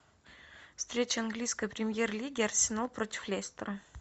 встреча английской премьер лиги арсенал против лестера